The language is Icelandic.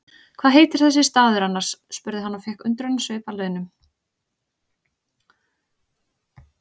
Hvað heitir þessi staður annars? spurði hann og fékk undrunarsvip að launum.